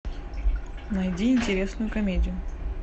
найди интересную комедию